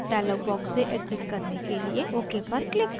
dialog box से exit करने के लिए ok पर click करें